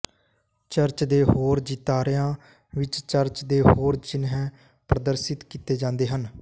church ਦੇ ਹੋਰ ਚਿਤਾਰਿਆਂ ਵਿਚ ਚਰਚ ਦੇ ਹੋਰ ਚਿੰਨ੍ਹ ਪ੍ਰਦਰਸ਼ਿਤ ਕੀਤੇ ਜਾਂਦੇ ਹਨ